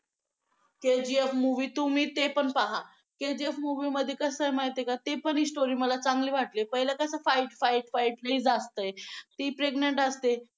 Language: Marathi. KGFmovie तुम्ही ते पण पहा. KGF movie मध्ये कसं आहे माहिती आहे का ती पण story मला चांगली वाटली पहिलं कसं fight fight fight लई जास्त आहे ती pregnant असते.